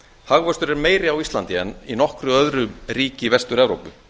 hagvöxtur er meiri á íslandi en í nokkru öðru ríki vestur evrópu